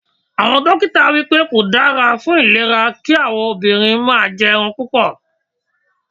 Àwọn dókítà wípé kò dára ìlera kí àwọn obìnrin máa jẹ ẹran púpọ̀.